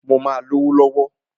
Mó máà lówó lọ̀wọ̀.